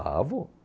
Ah, vou.